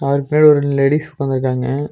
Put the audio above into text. அவருக்கு பின்னாடி ஒரு லேடிஸ் உக்காந்துருக்காங்க.